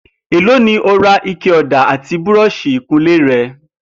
Èló ni o ra ike ò̩dà àti búró̩ò̩s̩ì ìkunlé re̩?